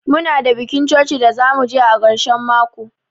Muna da bikin coci da zamu je a karshen mako.